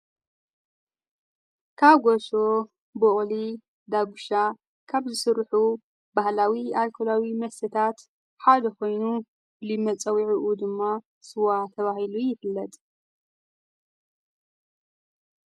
ካብ ጐሶ ብቕሊ ዳጕሻ ካብ ዝሥርሑ ባህላዊ ኣልኮላዊ ምሰታት ሓደ ኾይኑ ልመጸዊዒኡ ድማ ስዋ ተብሂሉ ይብለድ።